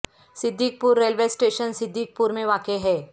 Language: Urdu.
صدیق پور ریلوے اسٹیشن صدیق پور میں واقع ہے